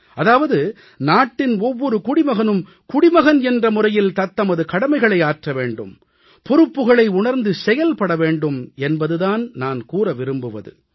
அதாவது நாட்டின் ஒவ்வொரு குடிமகனும் குடிமகன் என்ற முறையில் தத்தமது கடமைகளை ஆற்ற வேண்டும் பொறுப்புகளை உணர்ந்து செயல்பட வேண்டும் என்பது தான் நான் கூற விரும்புவது